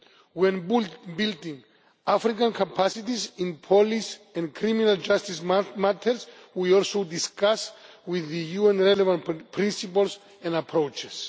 When building African capacities in police and criminal justice matters, we also discuss with the UN relevant principles and approaches.